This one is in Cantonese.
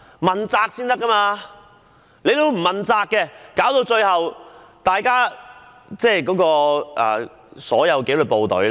現在講求問責，否則最終只會影響所有紀律部隊的形象。